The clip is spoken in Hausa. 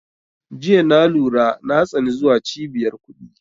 Jiya na lura na tsani zuwa cibiyar kuɗi